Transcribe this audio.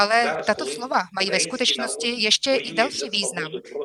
Ale tato slova mají ve skutečnosti ještě i další význam.